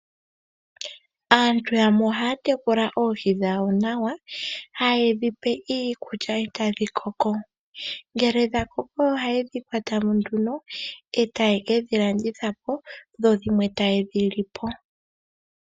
Aantu yamwe ohaya tekula oohi dhawo nawa. Haye dhi pe iikulya etadhi koko. Ngele dha koko ohaye dhi kwatamo nduno etaye kedhi landithapo dho dhimwe tayedhi lipo.